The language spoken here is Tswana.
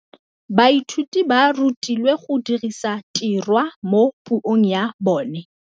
Baithuti ba rutilwe go dirisa tirwa mo puong ya bone.